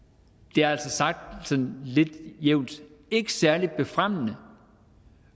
det er altså sagt sådan lidt jævnt ikke særlig fremmende